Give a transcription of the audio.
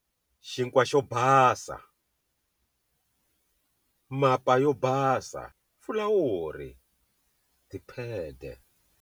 Xinkwa xo basa, Mapa yo basa, Fulawuri, Tiphede.